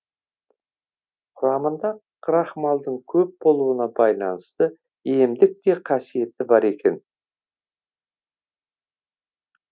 құрамында крахмалдың көп болуына байланысты емдік те қасиеті бар екен